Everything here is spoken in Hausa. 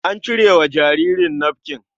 An cire wa jaririn nafkin.